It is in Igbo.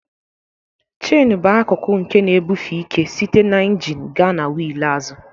Cheni bụ akụkụ nke na-ebufe ike site na injin gaa na wheel azụ.